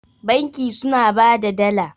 banki suna ba da Dala